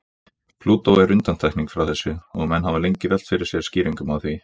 Plútó er undantekning frá þessu og menn hafa lengi velt fyrir sér skýringum á því.